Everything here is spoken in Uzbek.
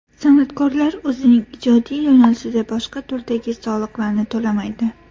San’atkorlar o‘zining ijodiy yo‘nalishida boshqa turdagi soliqlarni to‘lamaydi.